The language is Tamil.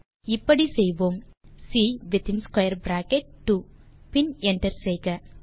அதை இப்படி செய்வோம் சி வித்தின் ஸ்க்வேர் பிராக்கெட் 2 பின் என்டர் செய்க